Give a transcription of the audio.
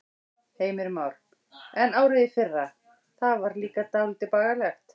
Heimir Már: En árið í fyrra, það var líka dálítið bagalegt?